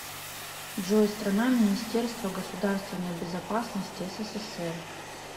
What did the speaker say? джой страна министерство государственной безопасности ссср